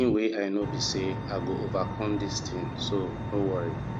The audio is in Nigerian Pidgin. the thing wey i know be say i go overcome dis thing so no worry